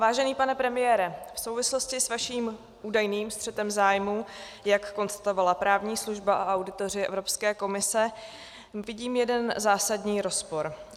Vážený pane premiére, v souvislosti s vaším údajným střetem zájmů, jak konstatovala právní služba a auditoři Evropské komise, vidím jeden zásadní rozpor.